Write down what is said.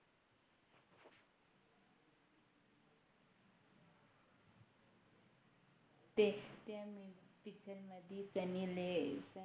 ते त्या Main Picture मध्ये त्यांनी ले